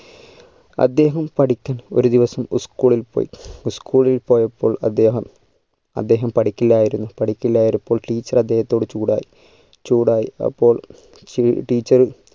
അദ്ദേഹം പഠിക്കാൻ ഒരു ദിവസം school ഇൽ പോയി school ഇൽ പോയപ്പോൾ അദ്ദേഹം അദ്ദേഹം പഠിക്കില്ലായിരുന്നു പഠിക്കില്ലായിരുന്നപ്പോൾ teacher അദ്ദേഹത്തോട് ചൂട് ആയി ചൂട് ആയി അപ്പോൾ ടി teacher